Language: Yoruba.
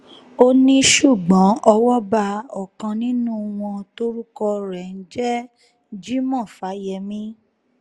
ó ní ṣùgbọ́n owó bá ọ̀kan nínú wọn tórúkọ ẹ̀ ń jẹ́ jimoh fáyemí